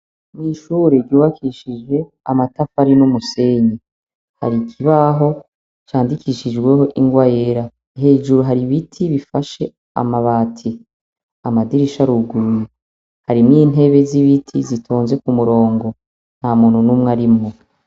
Mw’ishure ryubakishije amatafari n’umusenyi ,har’ ikibaho candikishijweho ingwa yera . Hejuru hari ibiti bifashe amabati. Amadirish’aruguruye, harimw’intebe s’ibiti zitonze kumurongo. Ntamuntu numw’arimwo.